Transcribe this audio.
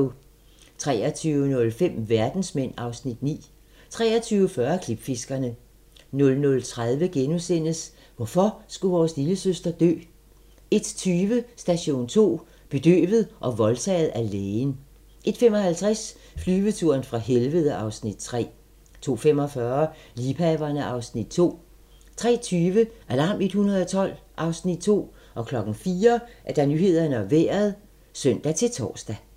23:05: Verdensmænd (Afs. 9) 23:40: Klipfiskerne 00:30: Hvorfor skulle vores lillesøster dø? * 01:20: Station 2: Bedøvet og voldtaget af lægen 01:55: Flyveturen fra helvede (Afs. 3) 02:45: Liebhaverne (Afs. 2) 03:20: Alarm 112 (Afs. 2) 04:00: Nyhederne og Vejret (søn-tor)